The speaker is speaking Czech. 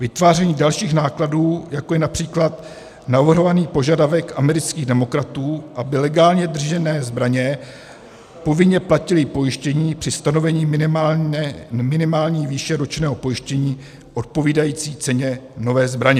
Vytváření dalších nákladů, jako je například navrhovaný požadavek amerických demokratů, aby legální držitelé zbraně povinně platili pojištění při stanovení minimální výše ročního pojištění odpovídající ceně nové zbraně.